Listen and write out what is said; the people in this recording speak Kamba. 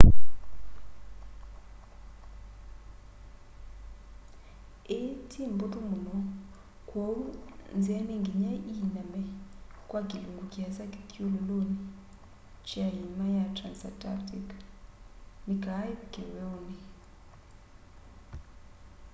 ii ti mbuthu muno kwoou nzia ni nginya iiname kwa kilungu kiasa kithyululuni kya iima sya transantarctic ni kaa ivike weuni